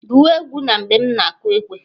Gụwa egwu na mgbe m na-kụ ekwe!